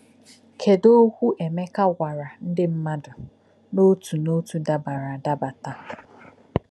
Kedu okwu Emeka gwara um ndị mmadụ n'otu n'otu dabara adaba taa?